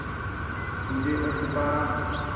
तुझे है पुकारा